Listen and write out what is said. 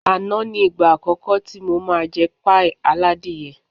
Àná ni ìgbà àkọ́kọ́ tí mo máa jẹ páì aládìyẹ